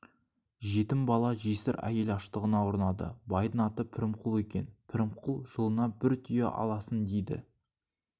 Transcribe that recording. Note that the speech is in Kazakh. жетім бала жесір әйел аштығына ұрынады байдьң аты пірімқұл екен пірімқұл жылына бір түйе аласың дейді